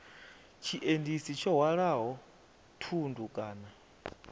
tshiendisi tsho hwalaho thundu kana